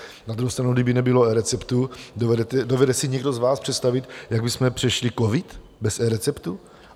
Na druhou stranu, kdyby nebylo eReceptu, dovede si někdo z vás představit, jak bychom přešli covid bez eReceptu?